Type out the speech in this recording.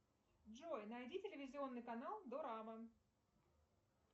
джой найди телевизионный канал дорама